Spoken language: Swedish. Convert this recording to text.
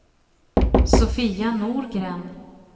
Sofia Norgren